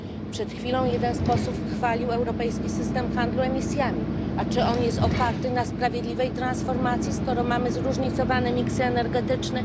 Przed chwilą jeden z posłów chwalił europejski system handlu emisjami, a czy on jest oparty na sprawiedliwej transformacji, skoro mamy zróżnicowany mix energetyczny?